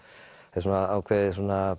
er ákveðið